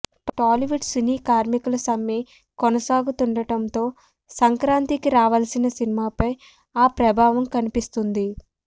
Tollywood cine కార్మికుల సమ్మె కొనసాగుతుండడంతో సంక్రాంతికి రావాల్సిన సినిమాలపై ఆ ప్రభావం కనిపిస్తుంది